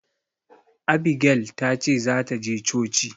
Abigel ta ce za ta je coci.